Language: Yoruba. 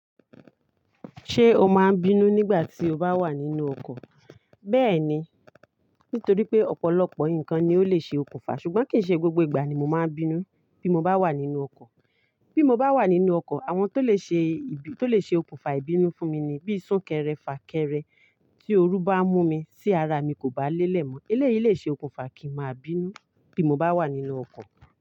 Ṣé o máa bínú nígbà tí o bá wà nínú ọkọ̀? Bẹ́ẹ̀ni, nítorí pé ọ̀pọ̀lọpọ̀ nǹkan ni ó lè ṣe okùnfà, ṣùgbọ́n kì í ṣe gbogbo ìgbà ni mo máa bínú bí mo bá wà nínú ọkọ̀. Bí mo bá wà nínú ọkọ̀, àwọn tó lè ṣe, tó lè ṣe okùnfà ìbínú fún mi ni bí súnkẹrẹ fà kẹrẹ, tí oru bá mú mi sí ara mi kò bá lélẹ̀ mọ́. Eléyìí lè ṣe okùnfà kí n máa bínú bí mo bá wà nínú ọkọ̀